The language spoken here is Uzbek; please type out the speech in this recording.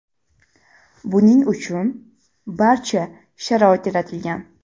Buning uchun barcha sharoit yaratilgan.